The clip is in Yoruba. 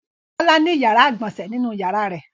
Bọ́lá ní ìyàrá-ìgbọ̀nsẹ̀ nínú ìyàrá rẹ̀.